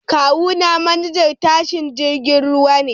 Kawuna manajan tashar jiragen ruwa ne